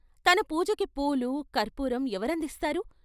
తన పూజకి పూలు, కర్పూరం ఎవరందిస్తారు?